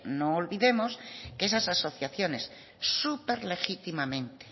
no olvidemos que esas asociaciones súper legítimamente